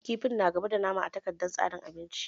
Kifin na gaba da nama a takardar tsarin abinci